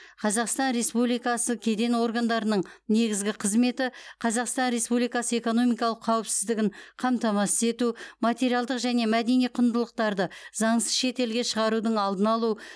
қазақстан республикасы кеден органдарының негізгі қызметі қазақстан республикасы экономикалық қауіпсіздігін қамтамасыз ету материалдық және мәдени құндылықтарды заңсыз шет елге шығарудың алдын алу